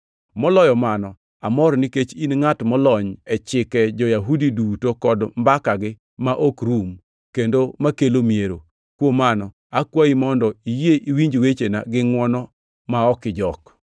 Moloyo mano, amor, nikech in ngʼat molony e chike jo-Yahudi duto kod mbakagi ma ok rum, kendo makelo miero. Kuom mano, akwayi mondo iyie iwinj wechena gi ngʼwono, ma ok ijok.